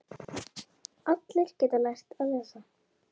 Allir geta lært að lesa.